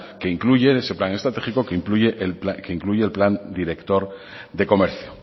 que incluye en ese plan estratégico que incluye el plan director de comercio